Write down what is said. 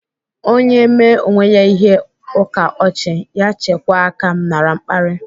Onye mee onwe ya ihe ukaochi, ya chekwaa aka nara mkpari.